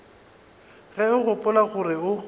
ge o gopola gore o